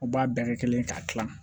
U b'a bɛɛ kɛ kelen ye k'a kilan